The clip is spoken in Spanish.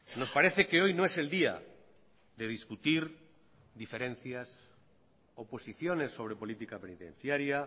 nos parece que hoy no es el día de discutir diferencias o posiciones sobre política penitenciaria